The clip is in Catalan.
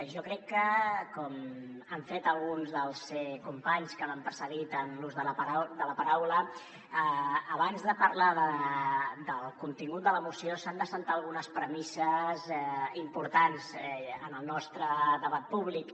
jo crec que com han fet alguns dels companys que m’han precedit en l’ús de la paraula abans de parlar del contingut de la moció s’han d’assentar algunes premisses importants en el nostre debat públic